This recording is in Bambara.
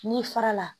N'i fara la